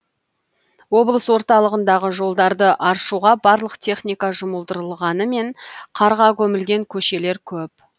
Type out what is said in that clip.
облыс орталығындағы жолдарды аршуға барлық техника жұмылдырылғанымен қарға көмілген көшелер көп